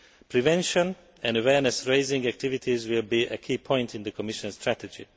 Prevention and awareness raising activities will be a key point in the Commission's strategy.